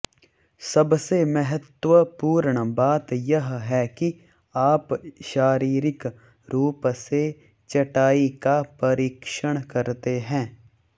सबसे महत्वपूर्ण बात यह है कि आप शारीरिक रूप से चटाई का परीक्षण करते हैं